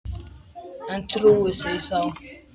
En trúði því þá.